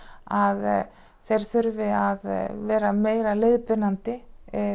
að þeir þurfi að vera meira leiðbeinandi